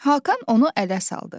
Hakan onu ələ saldı.